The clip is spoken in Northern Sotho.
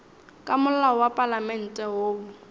ka molao wa palamente woo